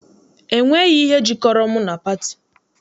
E nweghị ihe jikọrọ mụ na pati.